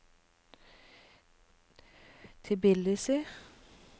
Tbilisi